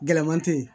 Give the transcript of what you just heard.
Gɛlɛman te yen